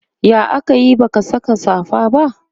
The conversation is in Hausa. ya akayi baka Saka safa ba?